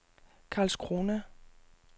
Karlskrona